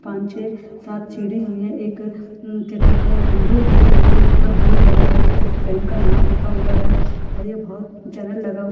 छ सात सीढ़ी हुई है एक क्या कहते विंडो दी गयी है ऊपर एक बोर्ड डला हुआ जिस पर बैंक का नाम लखा हुआ है और ये बहुत --